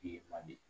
Ye man di